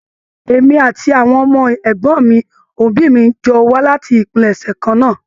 Èmi àti àwọn ọmọ ẹgbọn òbí mi jọ wà láti ìpilẹ̀ṣẹ̀ kan náà.